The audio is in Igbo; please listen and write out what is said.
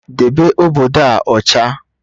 Debe obodo a ọcha!